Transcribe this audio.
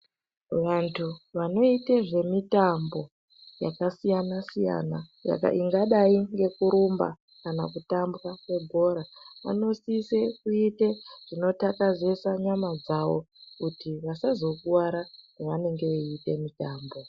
Vantu vanoite zvemitambo yakasiyana siyana ingadai ngekurumba kana kutamba yebhora, vanosise kuite zvinoxatazesa nyama dzawo kuti vasazokuara pavanenge veiita mitambo.